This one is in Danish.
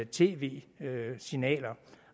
tv signaler